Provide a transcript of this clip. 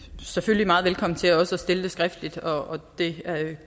selvfølgelig meget velkommen til også at stille det skriftligt og det